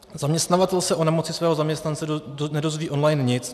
Zaměstnavatel se o nemoci svého zaměstnance nedozví online nic.